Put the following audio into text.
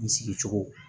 N sigicogo